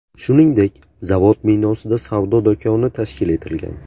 Shuningdek, zavod binosida savdo do‘koni tashkil etilgan.